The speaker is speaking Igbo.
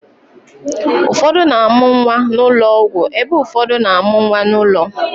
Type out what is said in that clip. Ụfọdụ na-amụ nwa n'ụlọ ọgwụ ebe ụfọdụ na-amụ nwa n'ụlọ